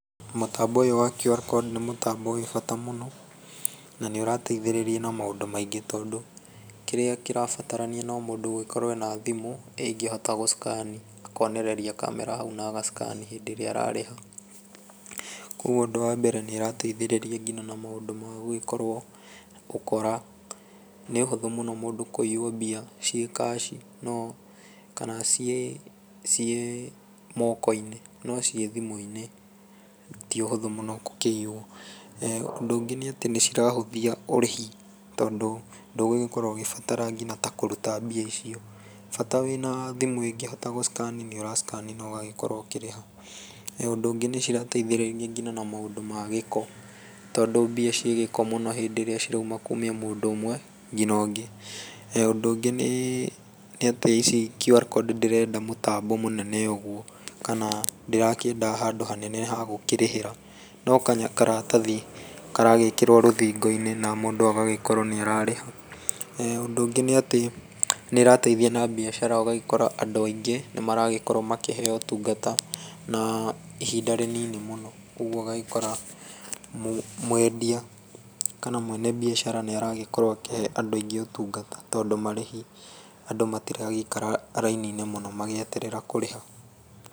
Mũtambo ũyũ wa QR code nĩ mũtambo wĩ bata mũno na nĩ ũrateithĩrĩria na maũndũ maingĩ tondũ kĩrĩa kĩrabatarania no mũndũ gũgĩkorwo ena thimũ ĩngĩhota gũ scan ni akonereria kamera hau na agacikani rĩrĩa ararĩha kogũo ũndũ wa mbere nĩ ĩrateithĩrĩria nginya na maũndũ magũgĩkorwo ũkora nĩ ũhũthũ mũno mũndũ kũiywo mbia ciĩ kaci kana ciĩ moko-inĩ no ciĩ thimũ-inĩ ti ũhũtho mũno gũkĩiywo, ũndũ ũngĩ nĩ atĩ nĩ cirahũthia ũrĩhi tondũ ndũgũgĩkorwo ũgĩbatara nginya ta kũruta mbia icio bata wĩna thimũ ĩngĩhota gũ scan i nĩ ũragĩscani na ũgagĩkorwo ũkĩrĩha, ũndũ ũngĩ nĩ cirateithĩrĩria ona maũndũ magĩko tondũ mbia cigĩko na hĩndĩ ĩrĩa cirauma kuma mũndũ ũmwe nginya ũngĩ, ũndũ ũngĩ nĩ atĩ QR code ndĩrenda mũtambo mũnene ũgũo kana ndĩrakĩenda handũ hanene hagũkĩrĩhĩra no karatathi karagĩkĩrwo rũthingo-inĩ na mũndũ agagĩkorwo nĩ ararĩha, ũndũ ũngĩ nĩ atĩ nĩ ĩrateithia na mbĩacara ũgagĩkora andũ angĩ nĩ maragĩkorwo makĩheo ũtungata na ihinda rĩnini mũno kogũo ũgagĩkora mwendia kana mwene mbiacara nĩ aragĩkorwo akĩhe andũ aingĩ ũtungata tondũ marĩhi andũ matiragĩikara rainini mũnomagĩeterera kũrĩha.